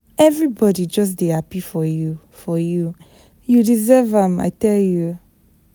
Everybody just dey happy for you. for you. You deserve am, I tell you.